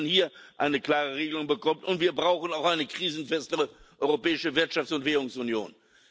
dass man hier eine klare Regelung bekommt. Und wir brauchen auch eine krisenfestere Europäische Wirtschafts und Währungsunion.